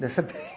Nessa